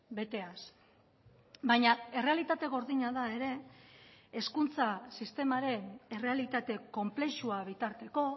beteaz baina errealitate gordina da ere hezkuntza sistemaren errealitate konplexua bitarteko